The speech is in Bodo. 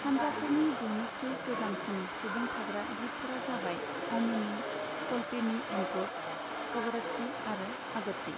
हान्जाफोरनि बयनिख्रुइ गोजामसिन सुंबुं थाग्रा दिपफोरा जाबाय अमिनि, कल्पेनि एन्ड्रोट, कवरत्ति आरो अगत्ति।